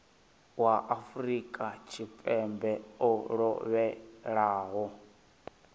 wa afrika tshipembe o lovhelaho